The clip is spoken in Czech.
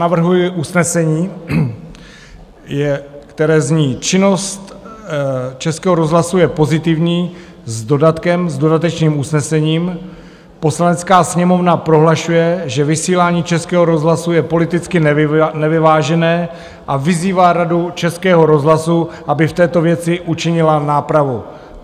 Navrhuji usnesení, které zní: "Činnost Českého rozhlasu je pozitivní..." - s dodatkem, s dodatečným usnesením - "Poslanecká sněmovna prohlašuje, že vysílání Českého rozhlasu je politicky nevyvážené, a vyzývá Radu Českého rozhlasu, aby v této věci učinila nápravu."